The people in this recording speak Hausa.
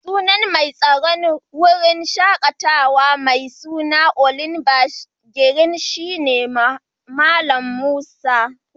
Sunan mai tsaron wurin shakatawa mai suna olive green shina Mallam Musa.